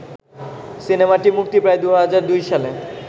সিনেমাটি মুক্তি পায় ২০০২ সালে